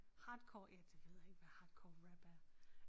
Hardcore ja jeg ved ikke hvad hardcore rap er